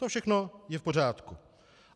To všechno je v pořádku.